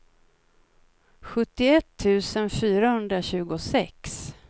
sjuttioett tusen fyrahundratjugosex